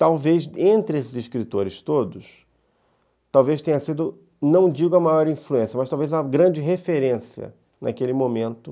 Talvez, entre esses escritores todos, talvez tenha sido, não digo a maior influência, mas talvez a grande referência naquele momento.